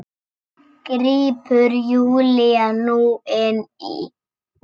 grípur Júlía nú inn í.